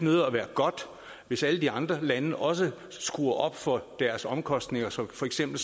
godt hvis alle de andre lande også skruer op for deres omkostninger som for eksempel